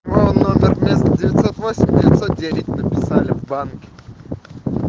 ну номер вместо девятьсот восемь девятьсот девять написали в банке